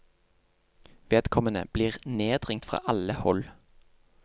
Vedkommende blir nedringt fra alle hold.